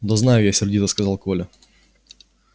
да знаю я сердито сказал коля